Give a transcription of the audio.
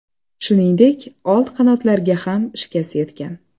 Shuningdek, old qanotlariga ham shikast yetgan.